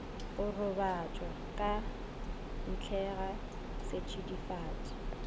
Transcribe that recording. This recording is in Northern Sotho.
go robatšwa ka ntlega setšidifatši